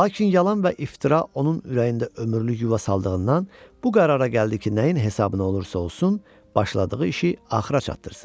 Lakin yalan və iftira onun ürəyində ömürlük yuva saldığından bu qərara gəldi ki, nəyin hesabına olursa olsun, başladığı işi axıra çatdırsın.